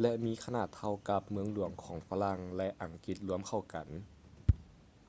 ແລະ ມີຂະໜາດເທົ່າກັບ ເມືອງຫຼວງຂອງຝຣັ່ງ ແລະ ອັງກິດລວມເຂົ້າກັນ